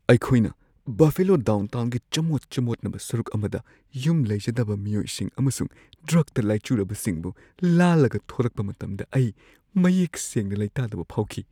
ꯑꯩꯈꯣꯏꯅ ꯕꯐꯦꯂꯣ ꯗꯥꯎꯟꯇꯥꯎꯟꯒꯤ ꯆꯃꯣꯠ-ꯆꯃꯣꯠꯅꯕ ꯁꯔꯨꯛ ꯑꯃꯗ ꯌꯨꯝ ꯂꯩꯖꯗꯕ ꯃꯤꯑꯣꯏꯁꯤꯡ ꯑꯃꯁꯨꯡ ꯗ꯭ꯔꯒꯇ ꯂꯥꯏꯆꯨꯔꯕꯁꯤꯡꯕꯨ ꯂꯥꯜꯂꯒ ꯊꯧꯔꯛꯄ ꯃꯇꯝꯗ ꯑꯩ ꯃꯌꯦꯛ ꯁꯦꯡꯅ ꯂꯩꯇꯥꯗꯕ ꯐꯥꯎꯈꯤ꯫